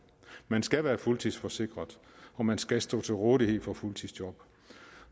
man skal være fuldtidsforsikret og man skal stå til rådighed for fuldtidsjob